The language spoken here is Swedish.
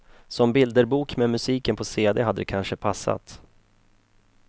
Som bilderbok med musiken på cd hade det kanske passat.